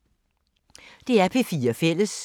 DR P4 Fælles